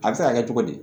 A bɛ se ka kɛ cogo di